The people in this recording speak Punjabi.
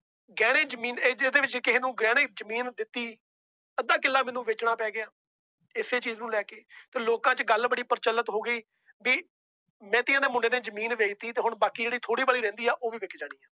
ਗਹਿਣੇ ਜਮੀਨ ਇੰਦੇ ਵਿੱਚ ਕਿਸੇ ਨੂੰ ਗਹਿਣੇ ਜਮੀਨ ਦਿੱਤੀ। ਅੱਧਾ ਕਿਲਾ ਮੈਨੂੰ ਵੇਚਣਾ ਪੈ ਗਿਆ। ਇਸੇ ਚੀਜ਼ ਨੂੰ ਲੈਕੇ। ਲੋਕਾਂ ਚ ਗੱਲ ਬੜੀ ਪ੍ਰਚੱਲਿਤ ਹੋ ਗਈ। ਕਿ ਮਹਿਤੀਆਂ ਮੁੰਡੇ ਨੇ ਜਮੀਨ ਵੇਚ ਤੀ। ਬਾਕੀ ਜਿਹੜੀ ਥੋੜੀ ਬਹੁਤ ਰਹਿੰਦੀ ਏ ਉਹ ਵੀ ਵਿਕ ਜਾਣੀ ਹੈ ।